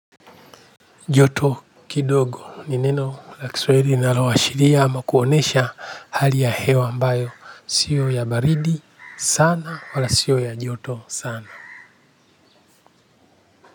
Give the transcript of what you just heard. Joto kidogo ni neno la kisahili linaloashiria ama kuonesha hali ya hewa ambayo sio ya baridi sana wala sio ya joto sana.